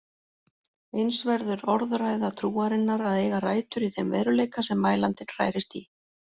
Eins verður orðræða trúarinnar að eiga rætur í þeim veruleika sem mælandinn hrærist í.